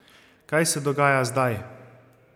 Kaj se dogaja zdaj?